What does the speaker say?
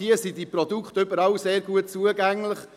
Hier sind diese Produkte überall sehr gut zugänglich.